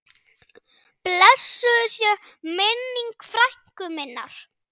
Blessuð sé minning frænku minnar.